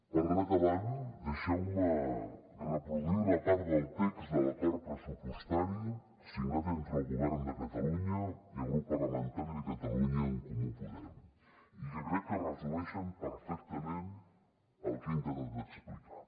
per anar acabant deixeu me reproduir una part del text de l’acord pressupostari signat entre el govern de catalunya i el grup parlamentari de catalunya en comú podem i que crec que resumeix perfectament el que he intentat explicar